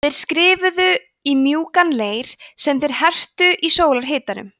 þeir skrifuðu í mjúkan leir sem þeir hertu í sólarhitanum